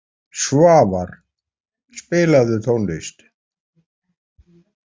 Svavar, spilaðu tónlist.